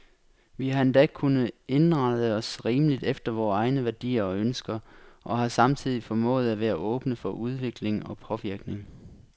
Vi har endda kunnet indrette os rimeligt efter vore egne værdier og ønsker, og har samtidig formået at være åbne for udvikling og påvirkning.